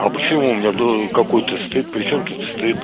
а почему у меня был какой-то стыд причём тут стыд